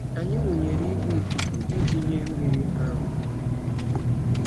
Anyị wụnyere igwe ikuku iji nye mmiri. um